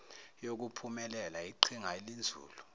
yokuphumelela yiqhinga elinzulu